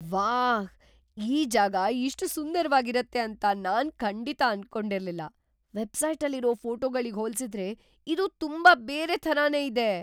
ವಾಹ್! ಈ ಜಾಗ ಇಷ್ಟ್ ಸುಂದರ್ವಾಗ್‌ ಇರತ್ತೆ ಅಂತ ನಾನ್‌ ಖಂಡಿತ ಅನ್ಕೊಂಡಿರ್ಲಿಲ್ಲ. ವೆಬ್‌ಸೈಟಲ್ಲಿರೋ ಫೋಟೋಗಳಿಗ್ ಹೋಲ್ಸಿದ್ರೆ ಇದು ತುಂಬಾ ಬೇರೆ ಥರಾನೇ ಇದೆ.